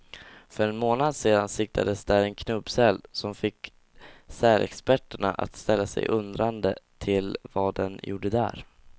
För en månad sedan siktades där en knubbsäl, som fick sälexperterna att ställa sig undrande till vad den gjorde där.